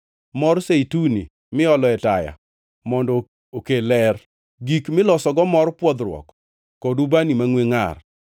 mor zeituni miolo e taya mondo okel ler, gik milosogo mor pwodhruok kod ubani mangʼwe ngʼar,